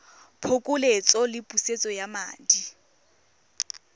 phokoletso le pusetso ya madi